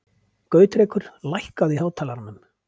Gautrekur, lækkaðu í hátalaranum.